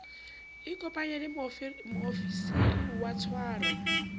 ikopanye le moofisiri wa tshwaro